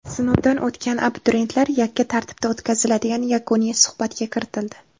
Sinovdan o‘tgan abituriyentlar yakka tartibda o‘tkaziladigan yakuniy suhbatga kiritildi.